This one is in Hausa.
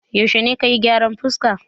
Yaushe ne ka yi gyaran fuska?